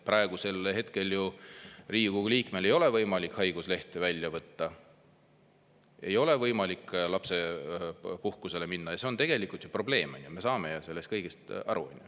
Praegusel hetkel Riigikogu liikmel ei ole võimalik haiguslehte võtta, ei ole võimalik lapsepuhkusele minna, ja see on tegelikult ju probleem, me saame sellest kõik aru.